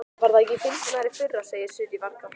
Var það ekki fyndnara í fyrra, segir Sirrý, varkár.